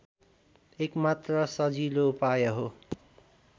एकमात्र सजिलो उपाय हो